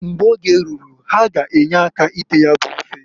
Mgbe oge ruru ha g' enye aka ite ya bụ ofe.